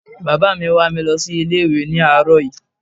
Bàbá mi wà mi lọ sí ilé ìwé ni àróò yí